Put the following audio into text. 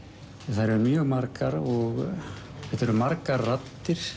þær eru mjög margar og þetta eru margar raddir